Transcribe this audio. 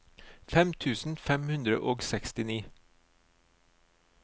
fem tusen fem hundre og sekstini